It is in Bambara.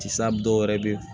Tisaa dɔwɛrɛ be ye